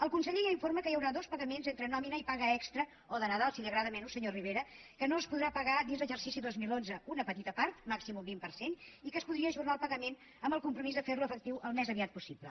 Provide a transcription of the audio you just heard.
el conseller ja informa que hi haurà dos pagaments entre nòmina i paga extra o de nadal si li agrada menys senyor rivera que no es podrà pagar dins l’exercici dos mil onze una petita part màxim un vint per cent i que es podria ajornar el pagament amb el compromís de fer lo efectiu al més aviat possible